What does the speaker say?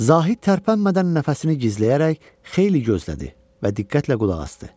Zahid tərpənmədən nəfəsini gizləyərək xeyli gözlədi və diqqətlə qulaq asdı.